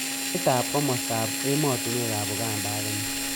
Saitab komostab emotinwekab Uganda ak Kenya